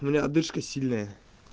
у меня отдышка сильная